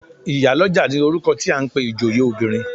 Ìyálọ́jà ni orúkọ tí à ń pe ìjòyè obìnrin.